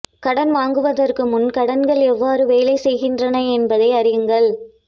கடன் வாங்குவதற்கு முன் கடன்கள் எவ்வாறு வேலை செய்கின்றன என்பதை அறியுங்கள்